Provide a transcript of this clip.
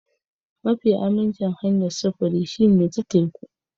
Mafi aminci hanyar sufuri shine ta teku.